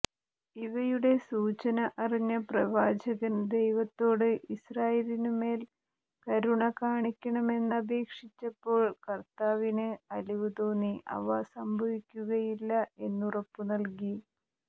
ഇവയുടെ സൂചന അറിഞ്ഞ പ്രവാചകൻ ദൈവത്തോട് ഇസ്രായേലിനുമേൽ കരുണ കാണിക്കണമെന്നപേക്ഷിച്ചപ്പോൾ കർത്താവിന് അലിവു തോന്നി അവ സംഭവിക്കുകയില്ല എന്നുറപ്പു നൽകി